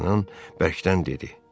Dartanyan bərkdən dedi.